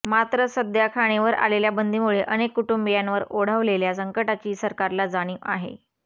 मात्र सध्या खाणीवर आलेल्या बंदीमूळे अनेक कुटुंबीयांवर ओढवलेल्या संकटाची सरकारला जाणीव आहे